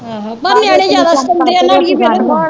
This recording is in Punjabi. ਆਹੋ ਪਰ ਨਿਆਣੇ ਜਿਆਦਾ ਸਤਾਉਂਦੇ ਆ ਨਾ ਅੜੀਏ ਫਿਰ